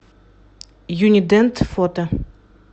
юни дент фото